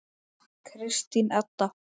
Kristín Edda.